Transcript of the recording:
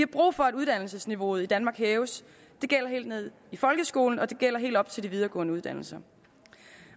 brug for at uddannelsesniveauet i danmark hæves det gælder helt ned i folkeskolen og det gælder helt op til de videregående uddannelser